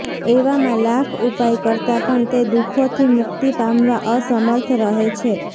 એવામાં લાખ ઉપાય કરતા પણ તે દુઃખોથી મુક્તિ પામવા અસમર્થ રહે છે